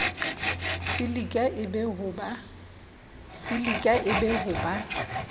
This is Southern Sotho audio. silika e be ho ba